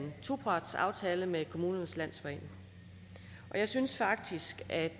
topartsaftale med kommunernes landsforening jeg synes faktisk at